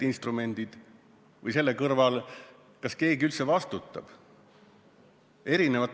Kas selle kõrval keegi üldse vastutab?